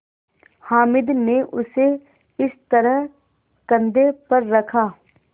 हामिद ने उसे इस तरह कंधे पर रखा